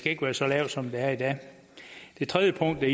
ikke være så lavt som det er i dag det tredje punkt